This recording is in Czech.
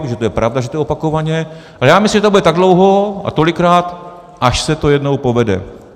Protože to je pravda, že je to opakovaně, a já myslím, že to bude tak dlouho a tolikrát, až se to jednou povede.